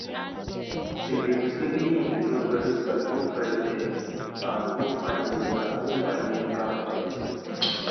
if you mistakenly inhale pesticide go fresh air and go find medical go find medical help